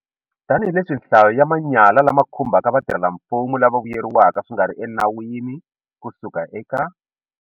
Tanihileswi nhlayo ya manyala lama khumbaka vatirhelamfumo lava vuyeriweke swi nga ri enawini ku suka eka.